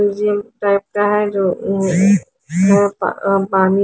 पानी --